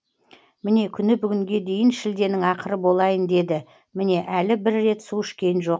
міне күні бүгінге дейін шілденің ақыры болайын деді міне әлі бір рет су ішкен жоқ